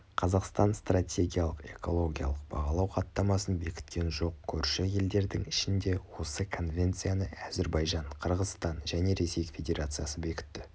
қазақстан стратегиялық экологиялық бағалау хаттамасын бекіткен жоқ көрші елдердің ішінде осы конвенцияны әзірбайжан қырғызстан және ресей федерациясы бекітті